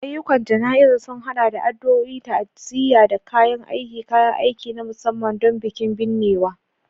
Ayyukan jana'izar sun haɗa da addu'o'i, ta'aziyya, da kayan aiki / kayan aiki na musamman don bikin binnewa.